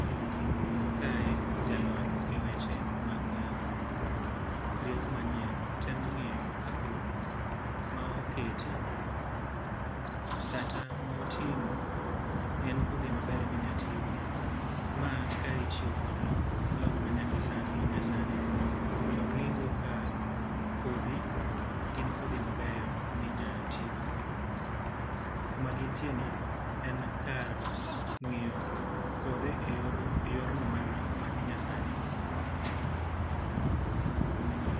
Kae jalony e weche mag rieko manyien temo ngíyo ka kodhi ma oketi kata ma otingó en kodhi maber ma inya ti go. Ma ka itiyo kod lony ma manyasani mondo ongí go ka kodhi, gin kodhi mabeyo ma inya ti go. Kuma gin ntie ni en kar ngíyo kothe e yorno ma ki nyasani.